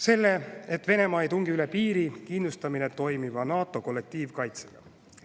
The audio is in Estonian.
Selle, et Venemaa ei tungi üle piiri, kindlustame toimiva NATO kollektiivkaitsega.